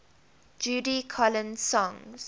judy collins songs